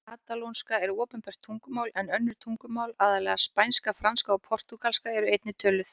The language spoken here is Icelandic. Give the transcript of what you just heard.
Katalónska er opinbert tungumál en önnur tungumál, aðallega spænska, franska og portúgalska, eru einnig töluð.